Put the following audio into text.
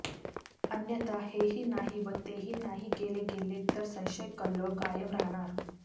अन्यथा हेही नाही व तेही नाही केले गेले तर संशयकल्लोळ कायम राहणार